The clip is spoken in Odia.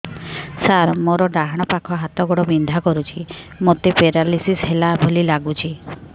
ସାର ମୋର ଡାହାଣ ପାଖ ହାତ ଗୋଡ଼ ବିନ୍ଧା କରୁଛି ମୋତେ ପେରାଲିଶିଶ ହେଲା ଭଳି ଲାଗୁଛି